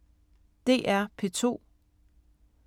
DR P2